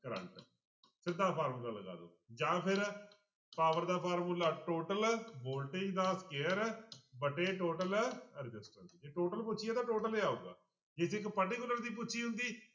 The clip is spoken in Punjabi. ਕਰੰਟ ਸਿੱਧਾ ਫਾਰਮੁਲਾ ਲਗਾ ਦਓ ਜਾਂਂ ਫਿਰ power ਦਾ ਫਾਰਮੁਲਾ total voltage ਦਾ square ਵਟੇ total resistance ਜੇ total ਪੁੱਛੀ ਆ ਤਾਂ total ਹੀ ਆਊਗਾ ਜੇ ਇੱਕ particular ਦੀ ਪੁੱਛੀ ਹੁੰਦੀ,